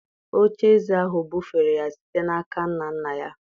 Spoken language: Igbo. oche-eze ahụ bufere ya site n’aka nna nna ya.